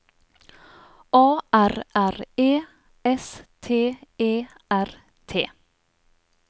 A R R E S T E R T